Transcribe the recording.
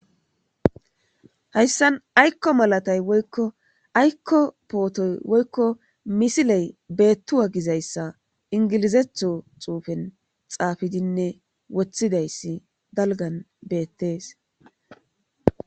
hayssan aykko malatay woykko aykko pootoy woykko misiley beettu wagizayssa ingilizetho xuufen xaafidinne wothidayssi dalgan beettees